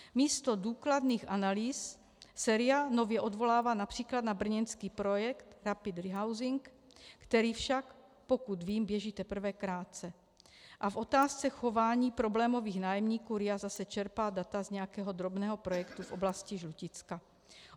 Místo důkladných analýz se RIA nově odvolává například na brněnský projekt Rapid Rehousing, který však, pokud vím, běží teprve krátce, a v otázce chování problémových nájemníků RIA zase čerpá data z nějakého drobného projektu v oblasti Žluticka.